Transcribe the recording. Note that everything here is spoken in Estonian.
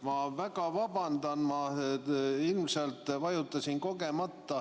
Ma väga vabandan, ma ilmselt vajutasin kogemata.